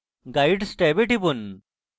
এরপর guides ট্যাবে টিপুন